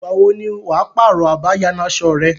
Ìgbà wo ni wà á pààrọ̀ abáyanaṣọ rẹ.